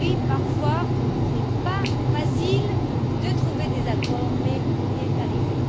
Parfois, ce n'est pas facile de trouver des accords, mais nous y sommes arrivés.